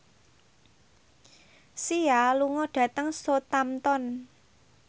Sia lunga dhateng Southampton